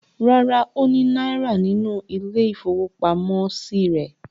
Rárá, ó ní náírà nínú ilé-ìfowópamọ́sí rẹ̀.